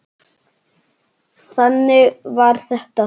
Þannig var þetta.